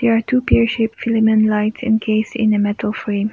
there two film and light and case in a metal frame.